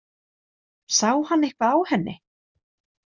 Sá hann eitthvað á henni?